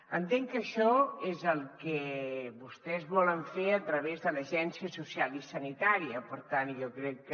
entenc que això és el que vostès volen fer a través de l’agència social i sanitària per tant jo crec que